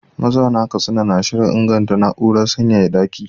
Mazauna Katsina na shirin inganta na’urar sanyaya daki.